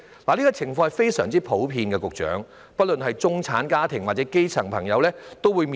這些情況非常普遍，不論中產家庭或基層朋友都得面對。